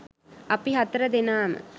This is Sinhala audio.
අපි හතර දෙනාම